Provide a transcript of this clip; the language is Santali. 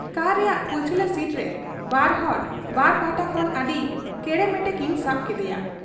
ᱠᱟᱨ ᱨᱮᱭᱟᱜ ᱯᱟᱹᱪᱷᱞᱟᱹ ᱥᱤᱴᱨᱮ ᱵᱟᱨᱦᱚᱲ ᱵᱟᱨ ᱯᱟᱦᱴᱟ ᱠᱷᱚᱱ ᱟᱹᱰᱤ ᱠᱮᱲᱮᱢᱮᱴᱮ ᱠᱤᱱ ᱥᱟᱵ ᱠᱮᱫᱮᱭᱟ ᱾